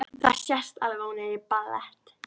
Það sést alveg að hún er í ballett.